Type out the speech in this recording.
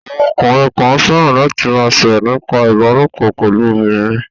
Àwọn ọkùnrin kan fẹ́ràn láti ma sọ̀rọ̀ nípa ìbálòpọ̀ pẹ̀lú obìnrin